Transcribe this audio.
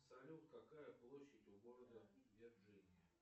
салют какая площадь у города вирджиния